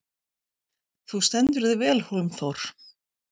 Þú stendur þig vel, Hólmþór!